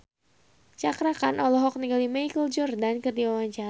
Cakra Khan olohok ningali Michael Jordan keur diwawancara